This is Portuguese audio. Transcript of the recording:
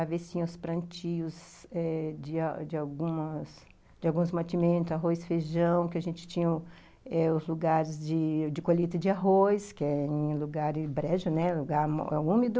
A vez tinha os plantios eh de de algumas algumas alguns mantimentos, arroz, feijão, que a gente tinha eh os lugares de de colheita de arroz, que era um lugar brejo, né, um lugar úmido.